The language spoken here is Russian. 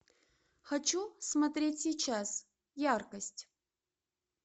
хочу смотреть сейчас яркость